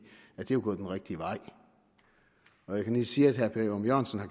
er jo gået den rigtige vej når jeg kan sige at herre per ørum jørgensen har